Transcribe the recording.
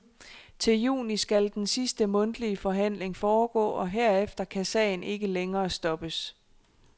Til juni skal den sidste mundtlige forhandling foregå, og herefter kan sagen ikke længere stoppes.